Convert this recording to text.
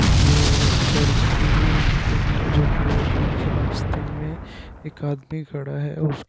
ये एक चर्च की मीटिंग है जो की बीच रास्ते में एक आदमी खड़ा है और --